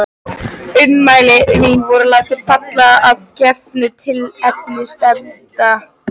Ummæli mín voru látin falla að gefnu tilefni stefnenda.